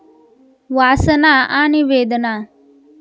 वासना आणि वेदना